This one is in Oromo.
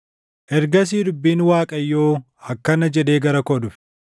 Ergasii dubbiin Waaqayyoo akkana jedhee gara koo dhufe: